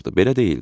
Belə deyildi.